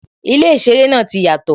Ilé īseré náà ti yàtò